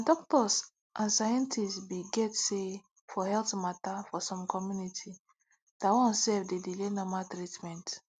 na doctors and scientist be get say for health mata for some community that one self dey delay normal treatment